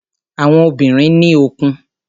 Àwọn obìnrin ní òkun.